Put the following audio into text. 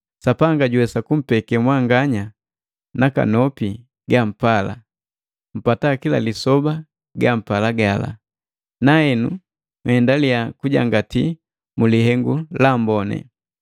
Sapanga juwesa kumpeke mwanganya nakanopi ga mpala, mpata kila lisoba gala gampala, nahenu nhendaliya kujangati mulihengu la amboni.